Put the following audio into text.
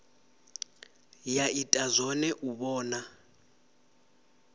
ya ita zwone u vhona